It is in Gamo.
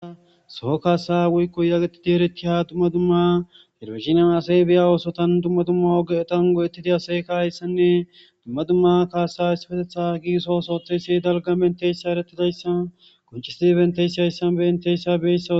Soo kaasa woykko yagetidi erekkiya dumma dumma herofizinian asay biya oosotan dumma dumma ogetan godettidi aseeka ayssanne dumma dumma kaasa ispetetha giiso sooteysi dalga menteyssa eretidayssan koncisidibenteyssi ayssan benteyssa bessao.